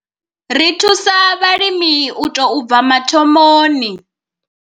Ri thusa vhalimi u tou bva mathomoni.